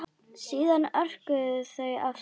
Síðan örkuðu þau af stað.